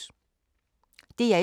DR1